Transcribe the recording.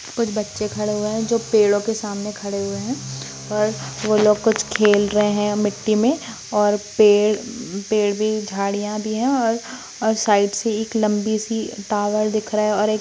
कुछ बच्चे खड़े हुए हैं जो पेड़ो के सामने खड़े हुए हैं और वह लोग कुछ खेल रहे हैं मिट्टी में और पेड़ पेड़ भी झाड़िया भी हैं और और साइड से एक लम्बी सी टावर दिख रहा हैं और एक--